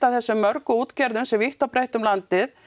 þessum mörgu útgerðum sem vítt og breitt um landið